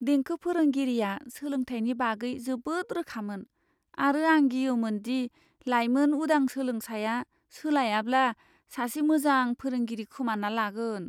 देंखो फोरोंगिरिया सोलोंथायनि बागै जोबोद रोखामोन, आरो आं गियोमोन दि लायमोन उदां सोलोंसाया सोलायाब्ला सासे मोजां फोरोंगिरि खोमाना लागोन।